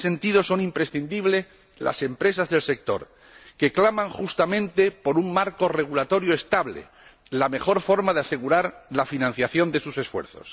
En este sentido, son imprescindibles las empresas del sector, que claman justamente por un marco regulatorio estable, la mejor forma de asegurar la financiación de sus esfuerzos.